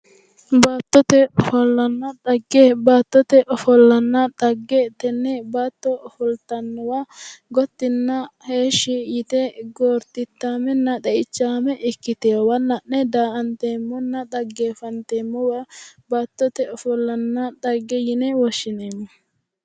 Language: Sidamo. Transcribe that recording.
Baattote ofollanna xagge, baattote ofollanna xagge tenne baatto ofoltannowa gottinna heeshshi yite goortichaamenna xeichaame ikkitewoowa la'ne daa'anteemmona xaggeeffanteemmowa baattote ofollanna xagge yine woshshineemmo.